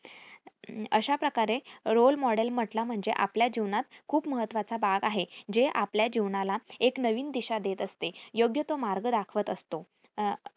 अशाप्रकारे role model म्हटलं म्हणजे आपल्या जीवनात खूप महत्वाचा भाग आहे. जे आपल्या जीवनाला एक नवीन दिशा देत असते. योग्य तो मार्ग दाखवत असतो. अं